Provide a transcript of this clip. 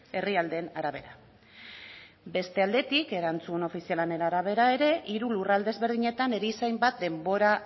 herrialdeen arabera beste aldetik erantzun ofizialen arabera ere hiru lurralde ezberdinetan erizain bat denbora